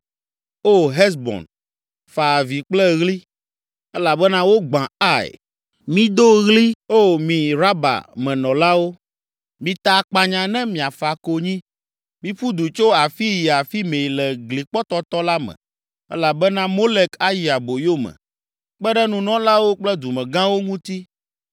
“O Hesbon, fa avi kple ɣli, elabena wogbã Ai! Mido ɣli, O mi Raba me nɔlawo! Mita akpanya ne miafa konyi; miƒu du tso afii yi afi mɛ le glikpɔtɔtɔ la me, elabena Molek ayi aboyo me, kpe ɖe nunɔlawo kple dumegãwo ŋuti.